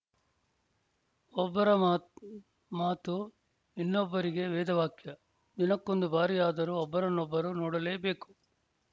ಒಬ್ಬರ ಮಾ ಮಾತು ಇನ್ನೊಬ್ಬರಿಗೆ ವೇದವಾಕ್ಯ ದಿನಕ್ಕೊಂದು ಬಾರಿಯಾದರೂ ಒಬ್ಬರನ್ನೊಬ್ಬರು ನೋಡಲೇಬೇಕು